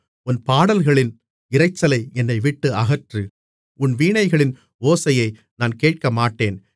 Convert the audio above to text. உன் பாடல்களின் இரைச்சலை என்னைவிட்டு அகற்று உன் வீணைகளின் ஓசையை நான் கேட்கமாட்டேன்